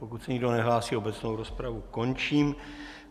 Pokud se nikdo nehlásí, obecnou rozpravu končím.